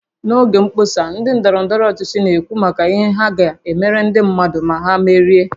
N'oge mkpọsa ndị ndọrọ ndọrọ ọchịchị na-ekwu maka ihe ha ga-emere ndị mmadụ ma ha merie